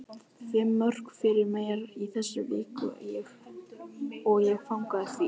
Fimm mörk frá mér í þessari viku og ég fagna því.